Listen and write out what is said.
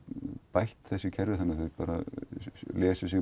bætt þessi kerfi og lesi sig